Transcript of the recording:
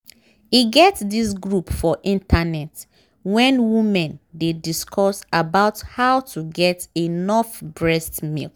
e get this group for internet wen women dey discuss about how to get enough breast milk